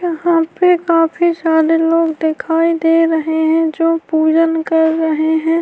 یھاں پی بہت سارے دکھایی دے رہے ہیں جو پجن کر رہے ہیں-